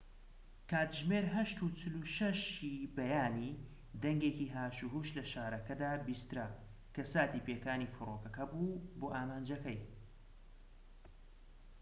کاتژمێر ٨:٤٦ ی بەیانی، دەنگێکی هاشوهوش لە شارەکەدا بیسترا، کە ساتی پێکانی فڕۆکەکە بوو بۆ ئامانجەکەی